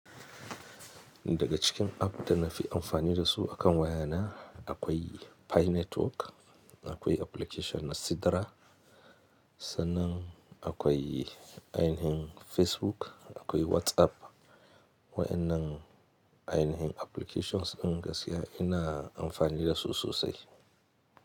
Daga cikin app da na fi amfani da su akan wayana akwai Pi Network, akwai application na Sidra, sannan akwai ainihin Facebook, akwai WhatsApp waɗannan ainihin applications gaskiya ina amfani da su sosai.